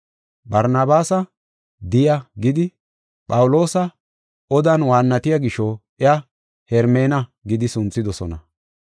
Barnabaasa, “Diya” gidi, Phawuloosi odan waannatiya gisho, iya, “Hermena” gidi sunthidosona.